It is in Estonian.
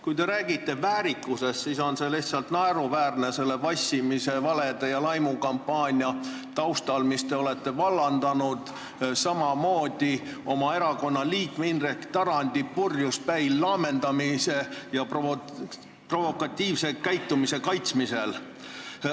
Kui te räägite väärikusest, siis on see lihtsalt naeruväärne selle vassimise, nende valede ja selle laimukampaania taustal, mille te olete vallandanud, samamoodi teie erakonna liikme Indrek Tarandi purjuspäi laamendamise ja provokatiivse käitumise kaitsmise taustal.